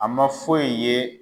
A ma foyi ye